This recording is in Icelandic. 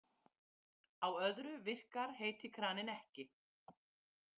Á öðru virkar heiti kraninn ekki.